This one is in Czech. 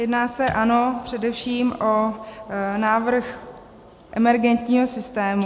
Jedná se, ano, především o návrh emergentního systému.